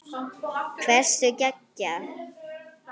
Hversu geggjað?